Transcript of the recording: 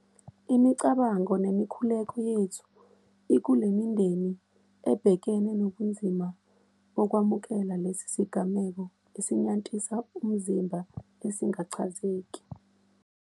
Imicabango nemikhuleko yethu ikule mindeni ebhekene nobunzima bokwamukela lesi sigameko esinyantisa umzimba esingachazeki.